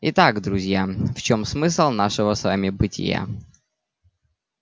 итак друзья в чём смысл нашего с вами бытия